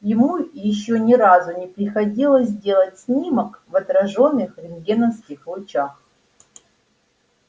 ему ещё ни разу не приходилось делать снимок в отражённых рентгеновских лучах